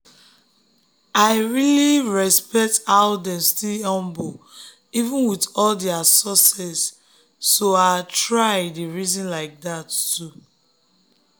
i really respect how dem still humble even with all their success so i try dey reason like that too.